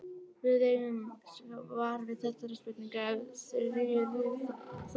Við eigum svar við þessari spurningu eftir Þuríði Þorbjarnardóttur.